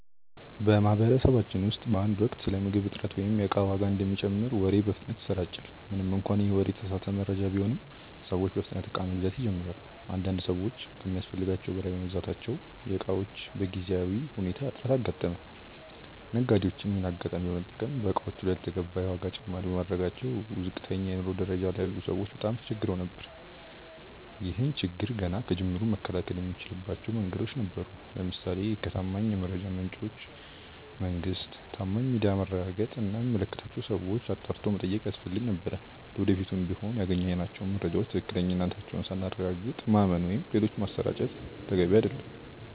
በማህበረሰባችን ውስጥ በአንድ ወቅት ስለ ምግብ እጥረት ወይም የእቃ ዋጋ እንደሚጨምር ወሬ በፍጥነት ይሰራጫል። ምንም እንኳን ይህ ወሬ የተሳሳተ መረጃ ቢሆንም፤ ሰዎች በፍጥነት እቃ መግዛት ይጀምራሉ። አንዳንድ ሰዎች ከሚያስፈልጋቸው በላይ በመግዛታቸው የእቃዎች በጊዜያዊ ሁኔታ እጥረት አጋጠመ። ነጋዴዎችም ይሄንን አጋጣሚ በመጠቀም በእቃዎቹ ላይ ያልተገባ የዋጋ ጭማሪ በማድረጋቸው ዝቅተኛ የኑሮ ደረጃ ላይ ያሉ ሰዎች በጣም ተቸግረው ነበር። ይህን ችግር ገና ከጅምሩ መከላከል የምንችልባቸው መንገዶች ነበሩ። ለምሳሌ ከታማኝ የመረጃ ምንጮች (መንግስት፣ ታማኝ ሚዲያ)ማረጋገጥ እና የሚመለከታቸውን ሰዎች አጣርቶ መጠየቅ ያስፈልግ ነበር። ለወደፊቱም ቢሆን ያገኘናቸውን መረጃዎች ትክክለኛነታቸውን ሳናረጋግጥ ማመን ወይም ሌሎች ማሰራጨት ተገቢ አይደለም።